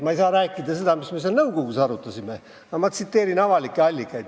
Ma ei saa rääkida sellest, mis me seal nõukogus arutasime, aga ma tsiteerin avalikke allikaid.